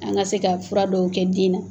An ka se ka fura dɔw kɛ den na.